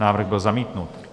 Návrh byl zamítnut.